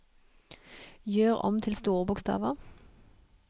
Gjør om til store bokstaver